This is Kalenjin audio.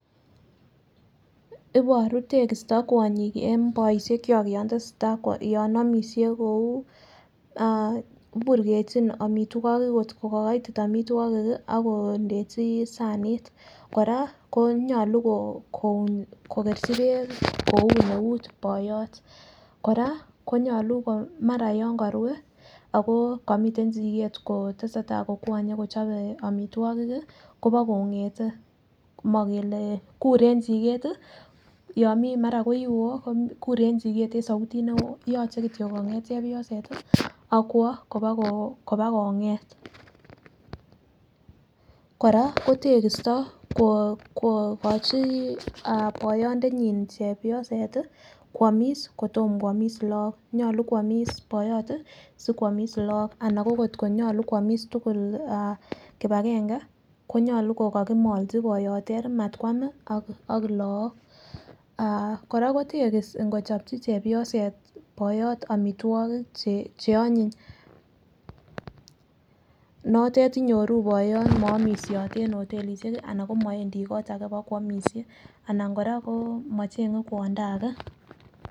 Iboru tekisto kwonyik en boishet kwak yon tesetai yon omishe kou iburkechi omitwokik kot ko ko koiti omitwokik kii ako ndechi sanit. Koraa konyoluu ko kokeechi beek koun eut boyot, Koraa konyolu maamra6 yon korue ako komiten chuket kotesetai kokwoye kochobe omitwokik kii Kobo kongeten mokele kure en chiket, yomii mara koi woo kure en chiket en soutit nei yoche kityok konget chepyoset tii ak kwo koba ko kobakonget. Koraa ko kokochi ah boyondenyin chepyoset tii kwomis koyom kwomis Lok, nyolu kwomis boyot tii sokwomiss Lok ak kotko nyolu kwomis tukuk ah kipagenge konyolu kokokimolchi boyot Teri matkwam ak lok. Ah Koraa ko tekis ikochopchi chepyoset boyot omitwokik che onyiny notet inyoru boyot mo omishote en hotelishek anan ko mowendii kitu age bo kwomishe ana koraa ko mochenge kwondo age.